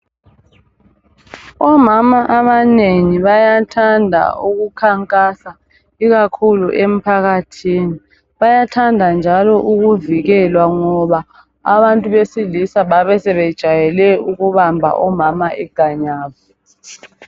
Omama abanengi bayathanda ukukhankasa ikakhulu emphakathini. Bayathanda njalo ukuvikelwa ngoba abantu besilisa babesebejayele ukubamba omama iganyavu.